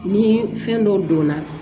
Ni fɛn dɔ donna